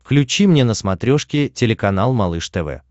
включи мне на смотрешке телеканал малыш тв